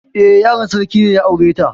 Eh, yaron sarki ne ya aure ta.